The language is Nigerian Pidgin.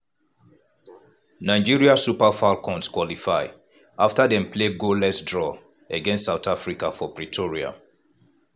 nigeria super falcons qualify afta dem play goalless draw against south africa for pretoria.